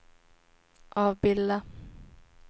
avbilda